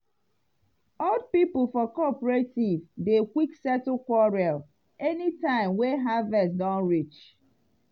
old people for cooperative dey quick settle quarrel anytime wey harvest don reach